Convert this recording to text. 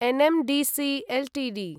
NMDC Ltd